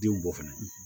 Denw bɔ fɛnɛ